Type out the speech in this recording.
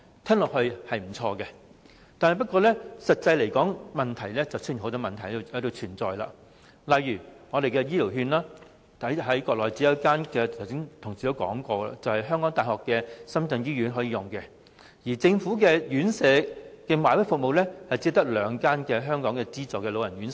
這項建議聽起來是不錯，不過，實際執行便會發現存在不少問題，例如醫療券，在國內只有一間香港大學深圳醫院可使用；而政府的院舍"買位"服務，只有兩間港資老人院推行。